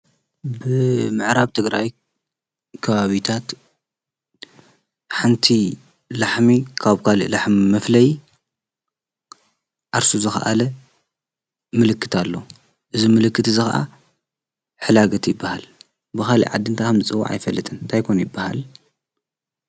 ብምዕራብ ትግራይ ከባብታት ሓንቲ ላሕሚ ካብ ጓል ላሕሚ መፍለይ ዓርሱ ዝኸአለ ምልክት አለዎ :: እዚ ምልክት እዚ ከዓ ሕላገት ይበሃል ::ብኸሊእ ዓዲ ታይ ተባሂሉ ከምዝፅዋዕ አይፈልጥን። እንታይ ኮን ይበሃል ?